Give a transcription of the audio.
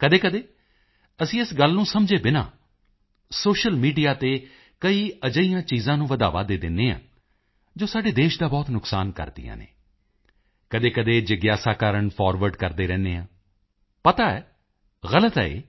ਕਦੇਕਦੇ ਅਸੀਂ ਇਸ ਗੱਲ ਨੂੰ ਸਮਝੇ ਬਿਨਾ ਸੋਸ਼ੀਅਲ ਮੀਡੀਆ ਤੇ ਕਈ ਅਜਿਹੀਆਂ ਚੀਜ਼ਾਂ ਨੂੰ ਵਧਾਵਾ ਦੇ ਦਿੰਦੇ ਹਾਂ ਜੋ ਸਾਡੇ ਦੇਸ਼ ਦਾ ਬਹੁਤ ਨੁਕਸਾਨ ਕਰਦੀਆਂ ਹਨ ਕਦੇਕਦੇ ਜਿਗਿਆਸਾ ਕਾਰਣ ਫਾਰਵਰਡ ਕਰਦੇ ਰਹਿੰਦੇ ਹਾਂ ਪਤਾ ਹੈ ਗਲਤ ਹੈ ਇਹ